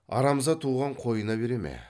арамза туған қойына бере ме